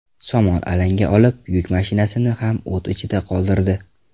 Somon alanga olib, yuk mashinasini ham o‘t ichida qoldirdi.